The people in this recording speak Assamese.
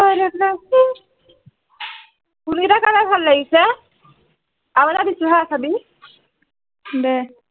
ভাল লাগিছে আৰু এটা দিছো হা চাবি দে